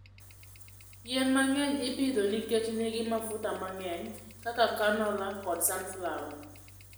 Yien mang'eny ipidho nikech nigi mafuta mang'eny, kaka canola kod sunflower.